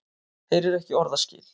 Heyrir ekki orðaskil.